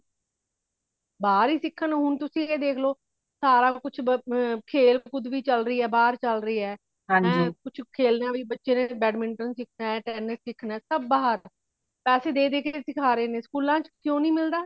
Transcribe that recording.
ਬਾਹਰ ਹੀ ਸਿੱਖਣ ਹੋਣ ਤੁਸੀਂ ਇਹ ਦੇਖ ਲੋ ਸਾਰਾ ਕੁਛ ਬ ਆ ਖੇੜ ਕੁਦ ਵੀ ਚੱਲ ਰਹੀ ਹੇ ਬਾਹਰ ਚੱਲ ਰਹੀ ਹੇ ਹੇ ਕੁਛ ਖੇਲਣਾ ਵੀ ਬੱਚੇ ਨੇ badminton ਸਿੱਖਣਾ ਹੇ tennis ਸਿੱਖਣਾ ਹੇ ਸਬ ਬਾਹਰ ਪੈਸੇ ਦੇ ਦੇ ਕੇ ਸਿੱਖਾਂ ਰਹੇ ਨੇ school ਆ ਵਿਚ ਕੁ ਨਹੀਂ ਮਿਲਦਾ